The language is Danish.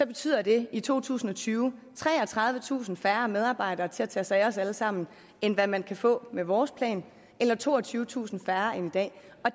betyder det i to tusind og tyve treogtredivetusind færre medarbejdere til at tage sig af os alle sammen end hvad man kan få med vores plan eller toogtyvetusind færre end i dag